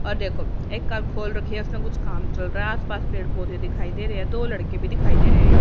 और देखो एक कार खोल रखी है उसमें कुछ काम चल रहा है आस पास पेड़ पौधे दिखाई दे रहे हैं दो लड़के भी दिखाई दे रहे हैं य --